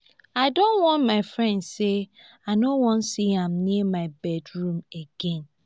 i don warn my friend say i no wan see am near my bedroom again